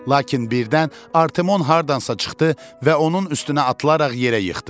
Lakin birdən Artemon hardansa çıxdı və onun üstünə atılaraq yerə yıxdı.